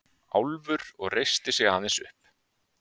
Álfur og reisti sig aðeins upp.